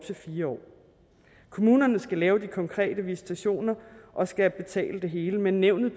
til fire år kommunerne skal lave de konkrete visitationer og skal betale det hele men nævnet